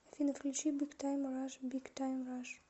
афина включи биг тайм раш биг тайм раш